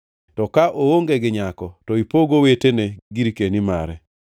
To ka oonge gi owete, to ipog owete gi wuonene girkeni mare.